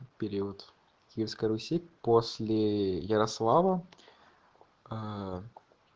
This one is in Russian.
период киевской руси после ярослава аа